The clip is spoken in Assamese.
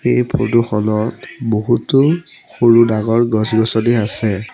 এই ফটো খনত বহুতো সৰু ডাঙৰ গছ গছনি আছে।